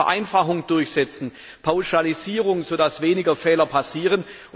Lasst uns Vereinfachung durchsetzen, Pauschalisierung, sodass weniger Fehler passieren!